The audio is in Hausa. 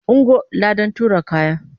Ungo! ladan tura kaya.